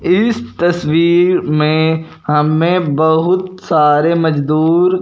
इस तस्वीर में हमें बहुत सारे मजदूर--